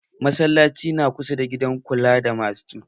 Masallacin na kusa da gidan kula da masu cuta.